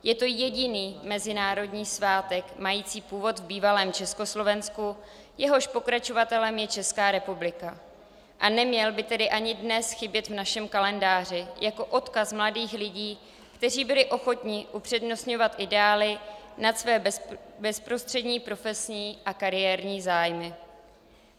Je to jediný mezinárodní svátek mající původ v bývalém Československu, jehož pokračovatelem je Česká republika, a neměl by tedy ani dnes chybět v našem kalendáři jako odkaz mladých lidí, kteří byli ochotni upřednostňovat ideály nad své bezprostřední profesní a kariérní zájmy.